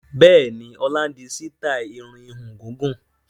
Bẹ́ẹ̀ni, ọlá ń di sítai irun ìhun gígùn